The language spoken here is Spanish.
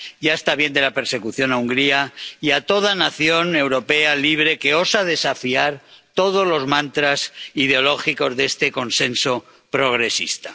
Ya está bien de la persecución a Hungría y a toda nación europea libre que osa desafiar todos los mantras ideológicos de este consenso progresista.